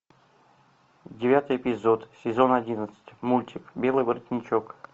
девятый эпизод сезон одиннадцать мультик белый воротничок